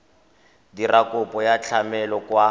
dira kopo ya tlamelo kwa